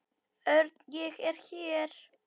Örn, ég er hér